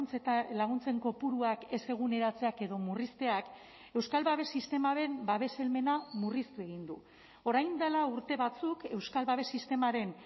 eta laguntzen kopuruak ez eguneratzeak edo murrizteak euskal babes sistemaren babes helmena murriztu egin du orain dela urte batzuk euskal babes sistemaren